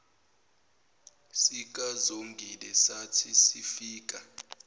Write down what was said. sikazongile sathi sifika